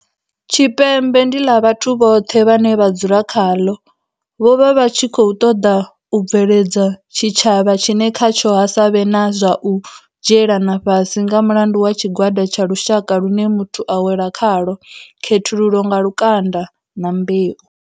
Tshipembe ndi ḽa vhathu vhoṱhe vhane vha dzula khaḽo, vho vha vha tshi kho ṱoḓa u bveledza tshi tshavha tshine khatsho ha sa vhe na zwa u dzhielana fhasi nga mulandu wa tshi gwada tsha lushaka lune muthu a wela khalwo, khethululo nga lukanda na mbeu.